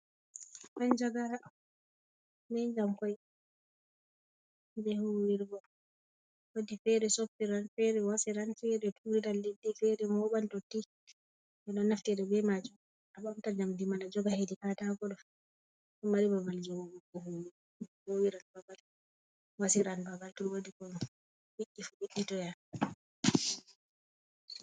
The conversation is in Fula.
Manjagara bee njamkoi kuje huwirgo, woodii feere, soppiran irn feere wasiran, feere tuuriran leddi, feere mooɓan dotti ɓe ɗo naftira bee maajum a ɓamta njamdi man a joga hedi kaataako, ɗo mari babal jogugo huuwiran babal wasi ran babal to woodi ko wonni fu wo''inana.